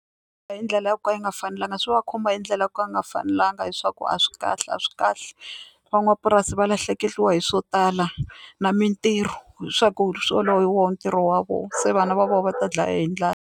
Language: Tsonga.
Hi ndlela yo ka yi nga fanelanga swi va khumba hi ndlela ya ku a nga fanelanga hiswaku a swi kahle a swi kahle van'wapurasi va lahlekeriwa hi swo tala na mintirho leswaku swo lowu hi wona ntirho wa vona se vana va vona va ta dlaya hi ndlala.